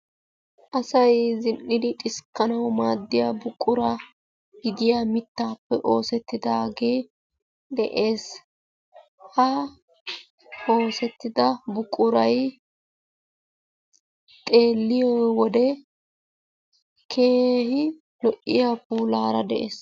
Asay zin'idi xiskkanawu maaddiya buqura gidiya miittappe oosettidaagee de'ees. Ha oosettida buquray xeelliyo wode keehi lo''iyaa puulaara de'ees.